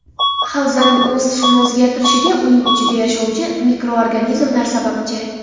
Havzaning o‘z tusini o‘zgartirishiga uning ichida yashovchi mikroorganizmlar sababchi.